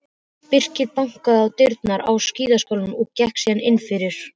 Birkir bankaði á dyrnar á skíðaskálanum og gekk síðan innfyrir.